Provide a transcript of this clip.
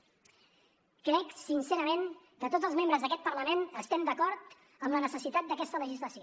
crec sincerament que tots els membres d’aquest parlament estem d’acord en la necessitat d’aquesta legislació